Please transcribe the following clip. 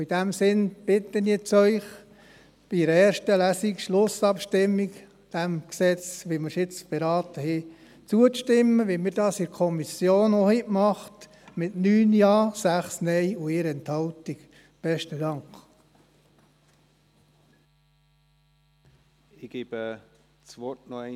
In diesem Sinne bitte ich Sie jetzt, in der Schlussabstimmung zur ersten Lesung, diesem Gesetz, wie wir es jetzt beraten haben, zuzustimmen, so wie wir dies in der Kommission, mit 9 Ja- gegen 6 NeinStimmen und 1 Enthaltung, auch getan haben.